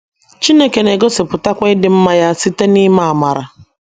Chineke na - egosipụtakwa ịdị mma ya site n’ime amara.